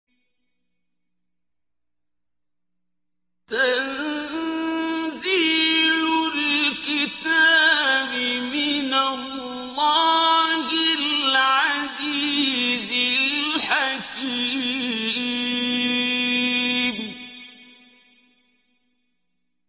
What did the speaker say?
تَنزِيلُ الْكِتَابِ مِنَ اللَّهِ الْعَزِيزِ الْحَكِيمِ